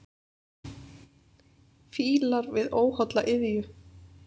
Fílar við óholla iðju.